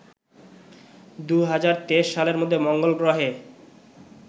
২০২৩ সালের মধ্যে মঙ্গলগ্রহে